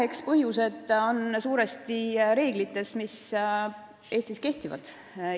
Eks põhjused on suuresti reeglites, mis Eestis kehtivad.